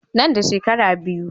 Nan da shekara biyu.